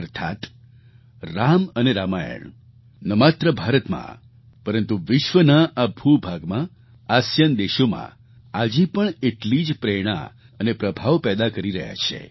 અર્થાત્ રામ અને રામાયણ ન માત્ર ભારતમાં પરંતુ વિશ્વના આ ભૂભાગમાં આસિયાન દેશોમાં આજે પણ એટલી જ પ્રેરણા અને પ્રભાવ પેદા કરી રહ્યા છે